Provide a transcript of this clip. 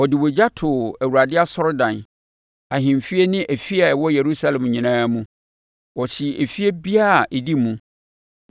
Ɔde ogya too Awurade asɔredan, ahemfie ne afie a ɛwɔ Yerusalem nyinaa mu. Ɔhyee efie biara a ɛdi mu.